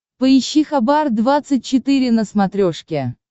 поищи хабар двадцать четыре на смотрешке